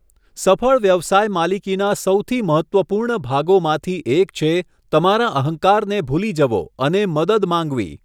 સફળ વ્યવસાય માલિકીના સૌથી મહત્ત્વપૂર્ણ ભાગોમાંથી એક છે તમારા અહંકારને ભૂલી જવો અને મદદ માંગવી.